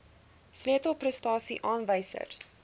sleutel prestasie aanwysers